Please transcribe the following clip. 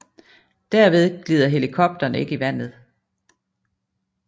Derved glider helikopteren ikke i vandet